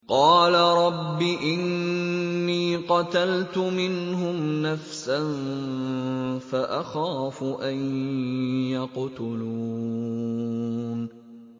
قَالَ رَبِّ إِنِّي قَتَلْتُ مِنْهُمْ نَفْسًا فَأَخَافُ أَن يَقْتُلُونِ